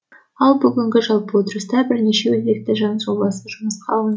ал бүгінгі жалпы отырыста бірнеше өзекті заң жобасы жұмысқа алын